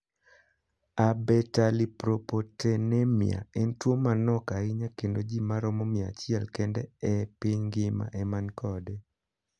Abetalipoproteinemia en tuo manok ahinya kendo ji maromo mia achiel kende e piny ng'ima eman kode.